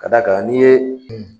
Ka d'a kan n'i ye